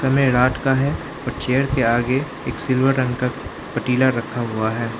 समय रात का है और चेयर के आगे एक सिल्वर रंग का पतीला रखा हुआ है।